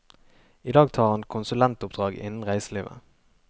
I dag tar han konsulentoppdrag innen reiselivet.